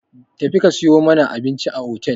Tafi ka sayo mana abinci a otel!